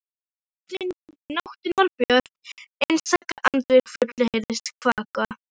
Nóttin var björt og einstaka andvaka fugl heyrðist kvaka.